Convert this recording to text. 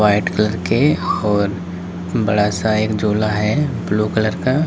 White colour के और बड़ा सा एक झोला है ब्लू कलर का।